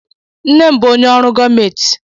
Nne m bụ onye ọrụ gọọmenti